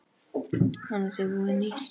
Annars er voðinn vís.